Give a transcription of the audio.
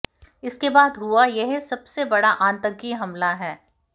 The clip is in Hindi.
इसके बाद हुआ यह सबसे बड़ा आतंकी हमला है